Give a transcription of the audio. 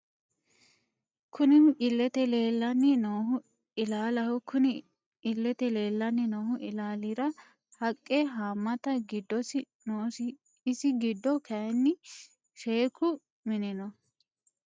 Kunni illete leelani noohu illaalaho kunni illete leelani noo illalira haqqe haamata giddosi noosi isi giddo kayiini sheeku mini no.